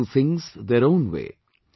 They want to do things their own way